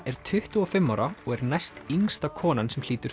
er tuttugu og fimm ára og er næstyngsta konan sem hlýtur